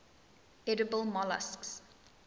edible molluscs